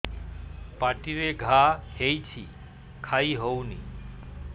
ପାଟିରେ ଘା ହେଇଛି ଖାଇ ହଉନି